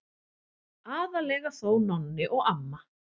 Aðallega þó Nonni og amma.